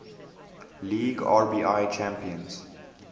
league rbi champions